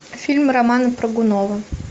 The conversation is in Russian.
фильм романа прыгунова